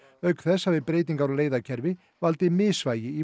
auk þess hafi breytingar á leiðakerfi valdið misvægi í